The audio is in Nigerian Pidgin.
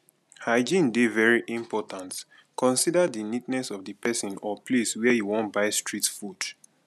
hygiene dey very important consider di neatness of di person or place where you wan buy street food